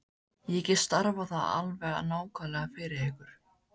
Ég get stafað það alveg nákvæmlega fyrir ykkur.